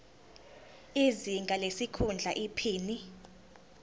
izinga lesikhundla iphini